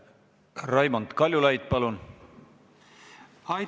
Raimond Kaljulaid, palun!